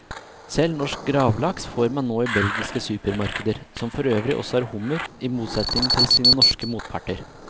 Selv norsk gravlaks får man nå i belgiske supermarkeder, som forøvrig også har hummer, i motsetning til sine norske motparter.